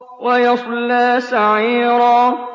وَيَصْلَىٰ سَعِيرًا